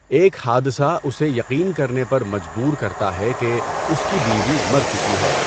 ایک حادثہ اسے یقین کرنے پر مجبور کرتا ہے کہ اس کی بیوی مر چکی ہے۔